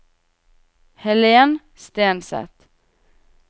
Helen Stenseth